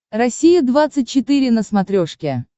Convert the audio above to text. россия двадцать четыре на смотрешке